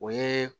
O ye